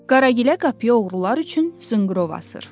Qaragilə qapıya oğrular üçün zınqrov asır.